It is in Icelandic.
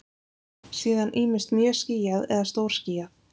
Síðan ýmist mjög skýjað eða stórskýjað.